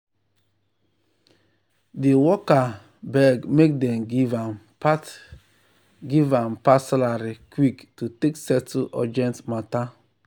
di worker beg make dem give am part give am part salary quick to take settle urgent matter.